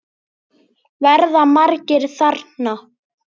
Verða margir þarna?